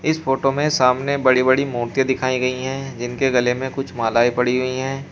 इस फोटो में सामने बड़ी बड़ी मूर्तियाँ दिखाई गई है जिनके गले में कुछ मालाएं पड़ी हुई हैं।